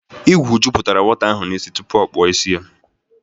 Ịgwụ jụpụtara nwata ahụ n'isi tụpụ ọ kpọ isi ya